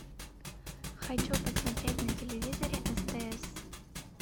хочу посмотреть на телевизоре стс